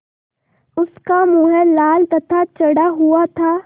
उसका मुँह लाल तथा चढ़ा हुआ था